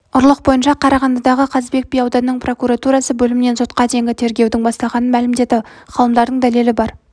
ұрлық бойынша қарағандыдағы қазыбек би ауданының прокуратурасы бөлімімен сотқа дейінгі тергеудің басталғанын мәлімдеді ғалымдардың дәлелі бар